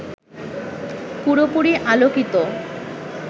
পুরোপুরি আলোকিত